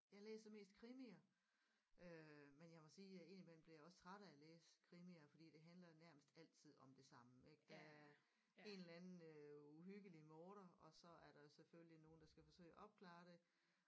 Jeg læser mest krimier øh men jeg må sige jeg ind imellem bliver jeg også træt af at læse krimier fordi det handler nærmest altid om det samme ik der er en eller anden øh uhyggelig morder og så er der selvfølgelig nogen der skal forsøge at opklare det